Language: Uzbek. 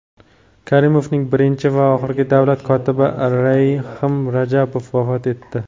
Karimovning birinchi va oxirgi davlat kotibi Rahim Rajabov vafot etdi.